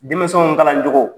Denmisɛnw kalancogo